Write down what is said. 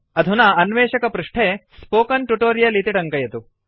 अधुना अन्वेषकपृष्ठे spoken tutorial इति टङ्कयतु